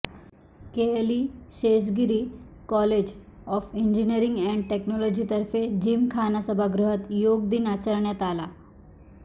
KLE Sheshgiri college of engineering and टेक्नॉलॉजीतर्फे जिमखाना सभागृहात योग दिन आचरण्यात आला